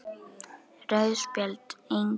Rauð spjöld: Engin.